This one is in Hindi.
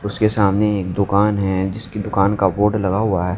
उसके सामने एक दुकान है जिसकी दुकान का बोर्ड लगा हुआ है।